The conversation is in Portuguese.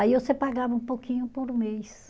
Aí você pagava um pouquinho por mês.